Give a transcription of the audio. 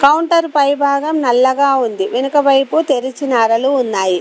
Counter పై భాగం నల్లగా ఉంది వెనుక వైపు తెరిచిన అరలు ఉన్నాయి.